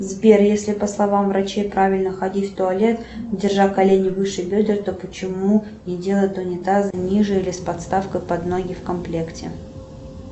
сбер если по словам врачей правильно ходить в туалет держа колени выше бедер то почему не делают унитазы ниже или с подставкой под ноги в комплекте